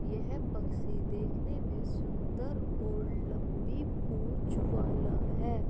ये है पक्षी देखने मे सुन्दर और लम्बी पूँछ वाला है।